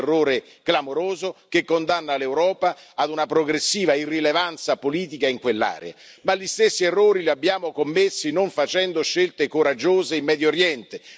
È stato un errore clamoroso, che condanna l'Europa ad una progressiva irrilevanza politica in quell'area, ma gli stessi errori li abbiamo commessi non facendo scelte coraggiose in Medio Oriente.